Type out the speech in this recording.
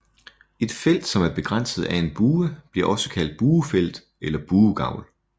Et felt som er begrænset af en bue bliver også kaldt buefelt eller buegavl